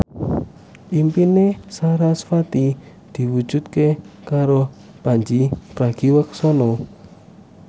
impine sarasvati diwujudke karo Pandji Pragiwaksono